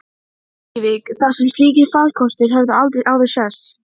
Hún leit spurnaraugum á Halla sem kinkaði kolli.